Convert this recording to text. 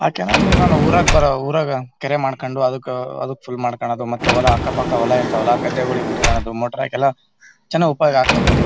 ಯಾಕಂದ್ರೆ ಅಲ್ಲಿ ಊರಾಗ್ ಬೇರೆ ಊರಾಗ ಕೆರೆ ಮಾಡ್ಕೊಂಡು ಅದ್ಕ ಅದಕ ಫುಲ್ ಮಾಡ್ಕೊಳೋದು ಮತ್ತೆಹೊಲ ಅಕ್ಕ ಪಕ್ಕ ಹೊಲ ಇರ್ತವಲ್ಲಾ ಗದ್ದೆಗಳಿಗ್ ಬಿಡ್ಕೊಳೋದು ಮೋಟರ್ ಹಾಕ್ ಎಲ್ಲಾ ಚನಾಗ್ ಉಪಯೋಗ ಆಗತ್ತೆ .